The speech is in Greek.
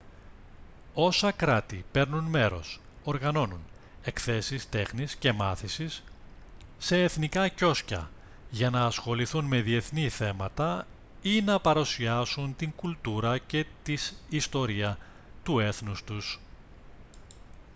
όσα κράτη παίρνουν μέρος οργανώνουν εκθέσεις τέχνης και μάθησης σε εθνικά κιόσκια για να ασχοληθούν με διεθνή θέματα ή να παρουσιάσουν την κουλτούρα και της ιστορία του έθνους τους